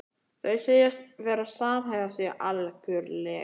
Þau segjast verða að samhæfa sig algjörlega.